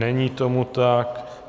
Není tomu tak.